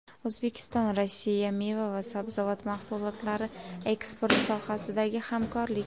O‘zbekistonRossiya: Meva va sabzavot mahsulotlari eksporti sohasidagi hamkorlik.